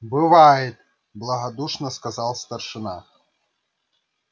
бывает благодушно сказал старшина